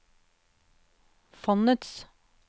fondets